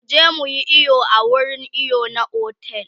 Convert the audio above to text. muje muyi iyo a wurin iyo na otel